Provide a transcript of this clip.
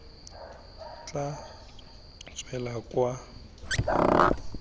tla tswela kwa ga gagwe